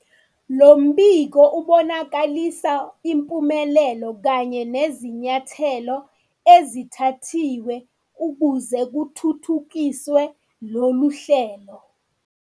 Lo mbiko ubonakalisa impumelelo kanye nezinyathelo ezithathiwe ukuze kuthuthukiswe lolu hlelo.